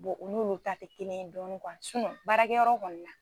Bɔn u n'olu ta te kelen ye dɔni kuwa sinɔ baarakɛ yɔrɔ kɔni na